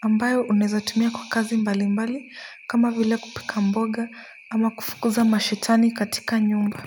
ambayo unaweza tumia kwa kazi mbali mbali kama vile kupika mboga ama kufukuza mashetani katika nyumba